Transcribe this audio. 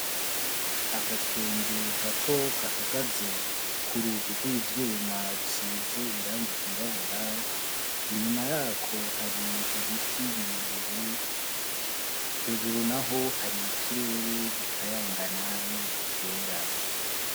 Agakende gato gahagaze k'urugi rw'ivyuma rusize irangi ryirabura ,inyuma yako hari ibiti birebire, hejuru naho hari ikirere gikayangana n'ibicu vyera.